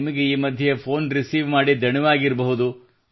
ನಿಮಗೆ ಈ ಮಧ್ಯೆ ಫೋನ್ ರಿಸೀವ್ ಮಾಡಿ ದಣಿದಿರಬಹುದು